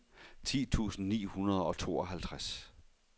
ti tusind ni hundrede og tooghalvtreds